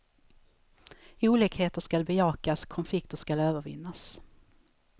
Olikheter skall bejakas, konflikter skall övervinnas.